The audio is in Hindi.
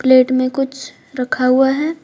प्लेट मे कुछ रखा हुआ है।